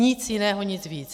Nic jiného, nic víc.